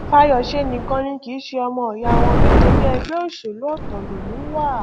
fàyọṣe nìkan ni kì í ṣe ọmọọyà wọn nítorí ẹgbẹ òṣèlú ọtọ lòun wà